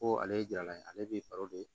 Ko ale ye jala ye ale be